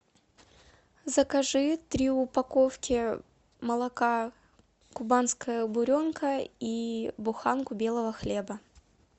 закажи три упаковки молока кубанская буренка и буханку белого хлеба